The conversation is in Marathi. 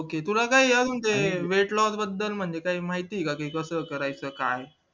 तुला काय ते weight loss बद्दल म्हणजे काय माहितीये का कसं काय करायचं काय